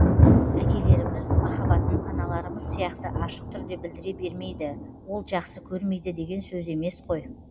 әкелеріміз махаббатын аналарымыз сияқты ашық түрде білдіре бермейді ол жақсы көрмейді деген сөз емес қой